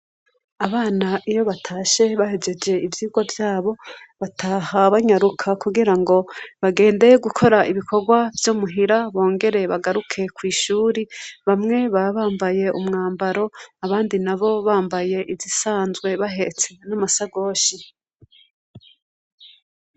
Abana iyo batashe bahegeje iyvirwa vyaabo bataha banyaruka kugira ngo bagende gukora ibikorwa vy'imuhira bongere bagaruke ku ishuri bamwe ba bambaye umwambaro abandi na bo bambaye izisanzwe bahetse n'amasagoshi.